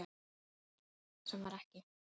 Sem var ekki.